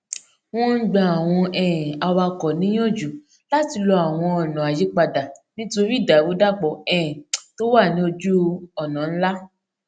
wọn ń gba àwọn um awakọ níyànjú láti lo àwọn ọnà àyípadà nítorí ìdàrúdàpò um tó wà ní ojú ọnà ńlá